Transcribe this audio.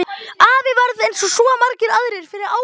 Afi varð eins og svo margir aðrir fyrir áfalli.